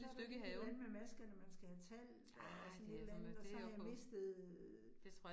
Så der lige et eller andet med maskerne, man skal have talt, og sådan et eller andet, og så har jeg mistet